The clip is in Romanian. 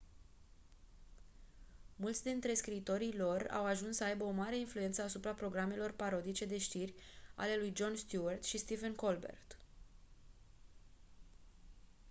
mulți dintre scriitorii lor au ajuns să aibă o mare influență asupra programelor parodice de știri ale lui jon stewart și stephen colbert